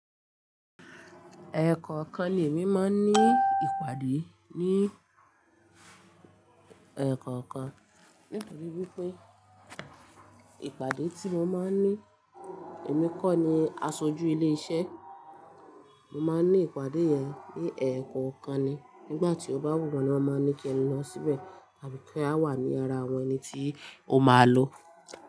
Ẹ̀ẹ̀kọ̀kan ni èmi máa ń ní ìpàdé ní ẹ̀ẹ̀kọ̀kan nítorí wípé ìpàdé tí mo máa ń ní èmi kọ́ ni aṣojú ilé iṣẹ́. Mo máa ń ní ìpàdé yẹn ní ẹ̀ẹ̀kọ̀kan ni. Nígbà tí ó bá wù wọ́n, ni wọ́n máa n ní kí n lọ síbẹ̀ tàbí kí a wà ní ara àwọn ẹni tí ó máa lọ.